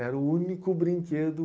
Era o único brinquedo.